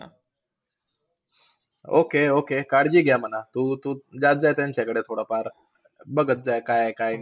Okay, okay! काळजी घ्या म्हणा. तू तू जात जा त्यांच्याकडे थोडंफार. बघत जा, काय आहे काय